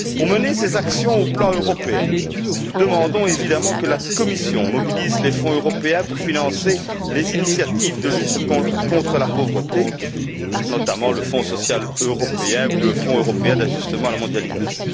Pour mener ces actions sur le plan européen, nous demandons évidemment que la Commission mobilise les fonds européens pour financer les initiatives de lutte contre la pauvreté, notamment le Fonds social européen ou le Fonds européen d'ajustement à la mondialisation.